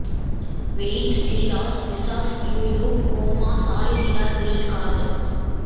weights d loss visas you you comma solicitor green card